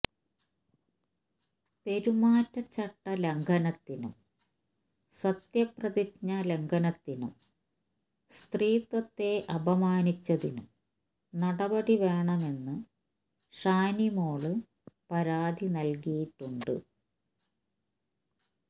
പെരുമാറ്റചട്ട ലംഘനത്തിനും സത്യപ്രതിജ്ഞ ലംഘനത്തിനും സ്ത്രീത്വത്തെ അപമാനിച്ചതിനും നടപടി വേണമെന്ന് ഷാനിമോള് പരാതി നല്കിയിട്ടുണ്ട്